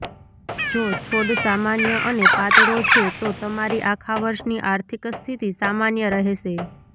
જો છોડ સામાન્ય અને પાતળો છે તો તમારી આખા વર્ષની આર્થિક સ્થિતિ સામાન્ય રહેશે